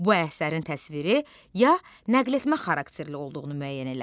Bu əsərin təsviri ya nəqletmə xarakterli olduğunu müəyyən elə.